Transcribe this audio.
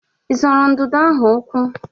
Ị zọrọ ududo ahụ ụkwụ?